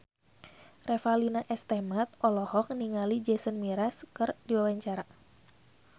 Revalina S. Temat olohok ningali Jason Mraz keur diwawancara